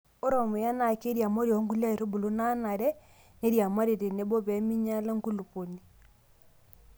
ore ormuya nee kiriamari onkulie aitubulu naa Nare neiriamari tenebo pee minyala enkulupuoni